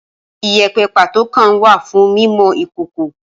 Ìyépẹ pàtó kan wà fún mímọ Ìkókò.